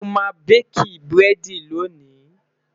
sọ má baki burẹdi lóni?